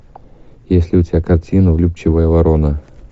есть ли у тебя картина влюбчивая ворона